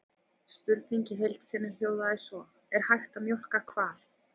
Spurningin í heild sinni hljóðaði svo: Er hægt að mjólka hval?